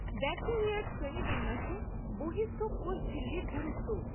ব্যাকটেরিয়ার শ্রেণিবিন্যাসে বহিঃস্থ কোষঝিল্লির গুরুত্ব।